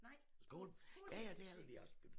Nej det var skolebiblioteket